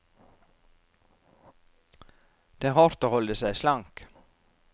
Det er hardt å holde seg slank.